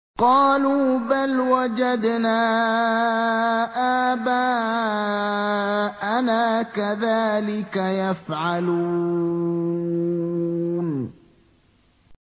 قَالُوا بَلْ وَجَدْنَا آبَاءَنَا كَذَٰلِكَ يَفْعَلُونَ